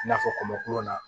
I n'a fɔ kɔmɔ kuluw na